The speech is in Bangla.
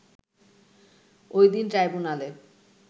ওই দিন ট্রাইব্যুনালে